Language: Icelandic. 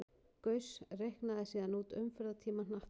Gauss reiknaði síðan út umferðartíma hnattarins.